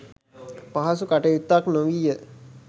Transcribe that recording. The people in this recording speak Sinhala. පහසු කටයුත්තක් නොවීය.